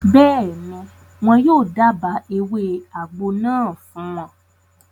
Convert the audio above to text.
Bẹ́ẹ̀ni, wọn yóò dába ewé àgbo náà fún wọn